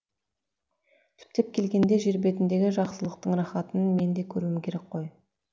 түптеп келгенде жер бетіндегі жақсылықтың рахатын менің де көруім керек қой